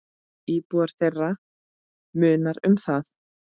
Íbúa þeirra munar um það.